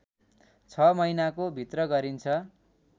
६ महिनाको भित्र गरिन्छ